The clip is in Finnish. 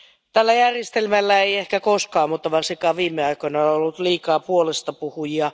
Tällä järjestelmällä ei ehkä koskaan, mutta varsinkaan viime aikoina, ole ollut liikaa puolestapuhujia.